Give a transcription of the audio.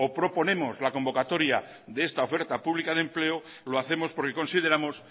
proponemos la convocatoria de esta oferta pública de empleo lo hacemos porque consideramos